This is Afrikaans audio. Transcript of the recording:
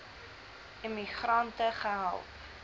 immi grante gehelp